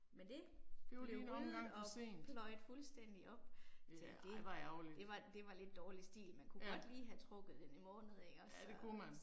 Men det blev ryddet og pløjet fuldstændig op. Altså det, det var det var lidt dårlig stil, man kunne godt lige have trukket den en måned ikke også så